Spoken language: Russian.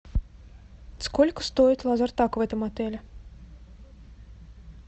сколько стоит лазертаг в этом отеле